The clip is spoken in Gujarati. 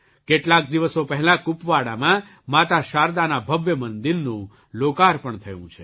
કેટલાક દિવસો પહેલાં કુપવાડામાં માતા શારદાના ભવ્ય મંદિરનું લોકાર્પણ થયું છે